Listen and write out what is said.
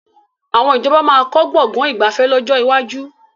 Àwọn ìjọba máa kọ́ Gbọ̀ngán ìgbafẹ́ lọ́jọ́ iwájú